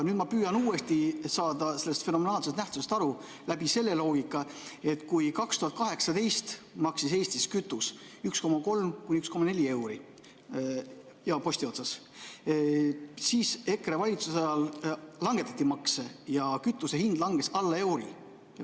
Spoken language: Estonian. Nüüd ma püüan uuesti saada sellest fenomenaalsest nähtusest aru läbi selle loogika, et kui 2018 maksis Eestis kütus 1,3–1,4 eurot, nii-öelda postihind, siis EKRE valitsuse ajal langetati makse ja kütuse hind langes alla euro.